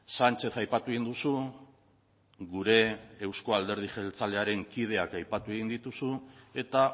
sánchez aipatu egin duzu gure euzko alderdi jeltzalearen kideak aipatu egin dituzu eta